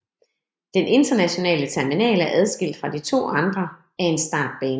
Den internationale terminal er adskilt fra de to andre af en startbane